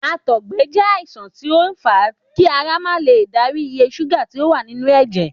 Àtọ̀gbẹ jé àìsàn tí ó n fa kí ara ma lè darí iye ṣúgà tí o wà nínú èjè